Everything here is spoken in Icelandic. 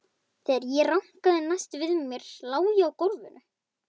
Þegar ég rankaði næst við mér lá ég á gólfinu.